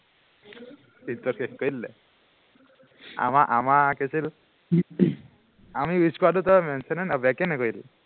ইজ্জত শেষ কৰি দিলে, আমাৰ আমাৰ কি আছিল আমি use কৰাটো তই mention এই back এই নকৰিলি